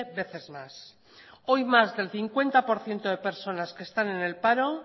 veces más hoy más del cincuenta por ciento de personas que están en el paro